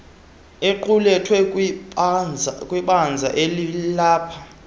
equlethwe kwibinzana elilapha